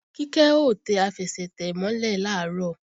Kíkẹ́ ó tẹ àfẹsẹ̀tẹ̀ mọ́ lẹ̀ làárọ̀